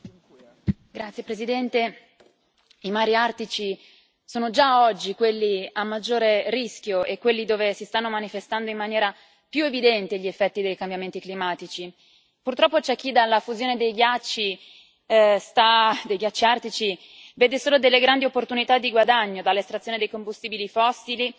Signor Presidente, onorevoli colleghi, i mari artici sono già oggi quelli a maggiore rischio e quelli dove si stanno manifestando in maniera più evidente gli effetti dei cambiamenti climatici. Purtroppo c'è chi nella fusione dei ghiacci artici vede solo delle grandi opportunità di guadagno dall'estrazione di combustibili fossili